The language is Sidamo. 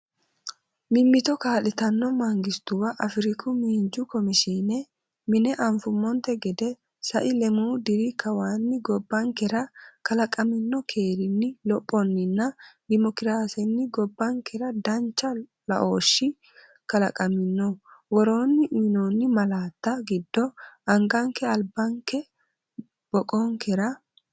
Mimmito kaa’litanno mangistuwa Afriku Miinju Komishiine Mine Anfummonte gede, sai lemuu diri kawaanni gobbankera kalaqamino keerinni, lophonninna dimookiraasenni gobbankera danchu laooshi kala qamino, Woroonni uyinoonni malaatta giddo anganke albinkera boqonkera?